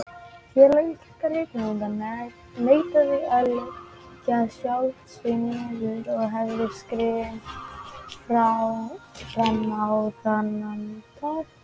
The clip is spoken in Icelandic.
Félag íslenskra rithöfunda neitaði að leggja sjálft sig niður og hefur skrimt frammá þennan dag.